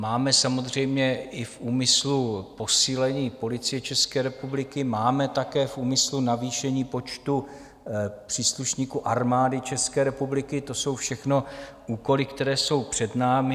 Máme samozřejmě v úmyslu i posílení Policie České republiky, máme také v úmyslu navýšení počtu příslušníků Armády České republiky, to jsou všechno úkoly, které jsou před námi.